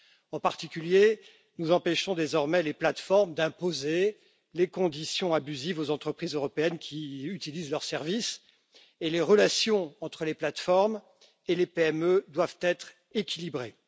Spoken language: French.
En particulier, nous empêchons désormais les plateformes d'imposer des conditions abusives aux entreprises européennes qui utilisent leurs services et les relations entre les plateformes et les PME doivent être équilibrées.